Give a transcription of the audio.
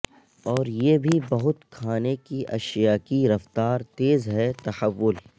اور یہ بھی بہت کھانے کی اشیاء کی رفتار تیز ہے تحول